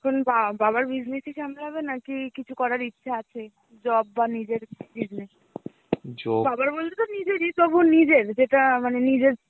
এখন বা~ বাবার business ই সামলাবে নাকি কিছু করার ইচ্ছে আছে? job বা নিজের buisness. বাবার বলছে তো নিজেরই তবু নিজের. যেটা মানে নিজের